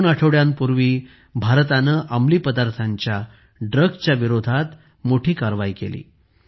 दोन आठवड्यांपूर्वी भारताने अंमली पदार्थांच्या विरोधात मोठी कारवाई केली आहे